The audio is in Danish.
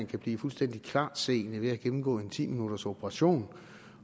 kan blive fuldstændig klartseende ved at gennemgå en ti minutters operation